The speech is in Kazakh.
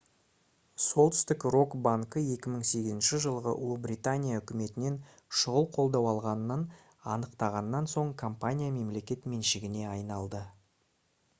солтүстік рок банкі 2008 жылы ұлыбритания үкіметінен шұғыл қолдау алғанын анықтағаннан соң компания мемлекет меншігіне айналды